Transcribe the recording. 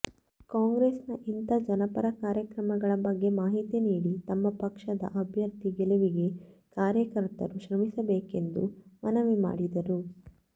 ಕಾಂಗ್ರೆಸ್ನ ಇಂಥ ಜನಪರ ಕಾರ್ಯಕ್ರಮಗಳ ಬಗ್ಗೆ ಮಾಹಿತಿ ನೀಡಿ ತಮ್ಮ ಪಕ್ಷದ ಅಭ್ಯರ್ಥಿ ಗೆಲುವಿಗೆ ಕಾರ್ಯಕರ್ತರು ಶ್ರಮಿಸಬೇಕೆಂದು ಮನವಿ ಮಾಡಿದರು